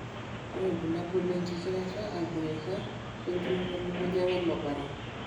ore ilbulabul na enkikirata aiboeka, wentiroto elukunya welopare.